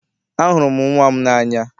Ahụrụ m nnwa m n'anya.